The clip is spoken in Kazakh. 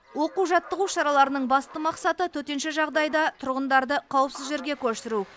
оқу жаттығу шараларының басты мақсаты төтенше жағдайда тұрғындарды қауіпсіз жерге көшіру